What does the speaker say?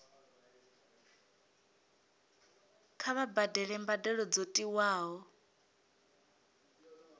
kha vha badele mbadelo dzo tiwaho